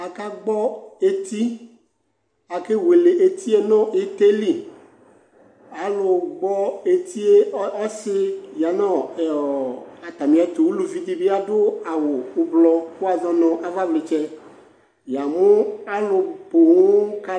akagbɔɔ etii akaewele etie nʋ itɛli alʋgbɔɔ etie ɔsi yanʋɔ ɛɔɔ atamietʋ ʋlʋvidibi adʋ awu ʋblɔ kʋwazɔnʋ avavlitsɛ yamu alʋpoo ka